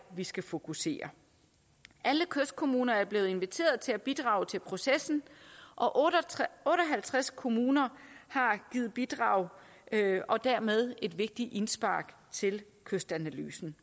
vi skal fokusere alle kystkommuner er blevet inviteret til at bidrage til processen og og otte og halvtreds kommuner har givet bidrag og dermed et vigtigt indspark til kystanalysen